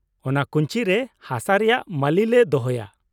ᱚᱱᱟ ᱠᱩᱧᱪᱤ ᱨᱮ ᱦᱟᱥᱟ ᱨᱮᱭᱟᱜ ᱢᱟᱹᱞᱤ ᱞᱮ ᱫᱚᱦᱚᱭᱟ ᱾